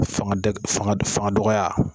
Fanga dɔgɔya.